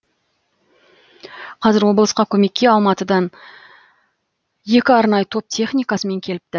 қазір облысқа көмекке алматыдан екі арнайы топ техникасымен келіпті